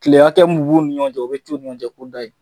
Tile hakɛ mun b'u ni ɲɔgɔn cɛ o be t'u ni ɲɔgɔn cɛ kundayi.